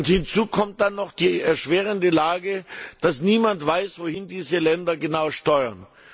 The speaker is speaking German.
Hinzu kommt dann noch die erschwerende Lage, dass niemand weiß, wohin diese Länder genau steuern.